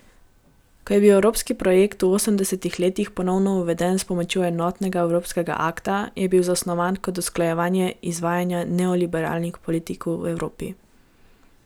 Ko je bil evropski projekt v osemdesetih letih ponovno uveden s pomočjo Enotnega evropskega akta, je bil zasnovan kot usklajevanje izvajanja neoliberalnih politik v Evropi.